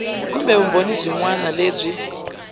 kumbe vumbhoni byin wana lebyi